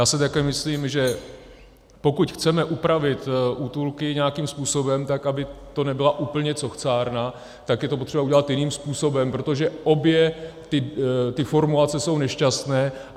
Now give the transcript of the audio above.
Já si také myslím, že pokud chceme upravit útulky nějakým způsobem tak, aby to nebyla úplně cochcárna, tak je to potřeba udělat jiným způsobem, protože obě ty formulace jsou nešťastné.